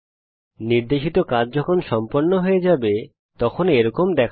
নির্দেশিত কাজ যখন সম্পন্ন হয়ে যাবে তখন এরকম দেখাবে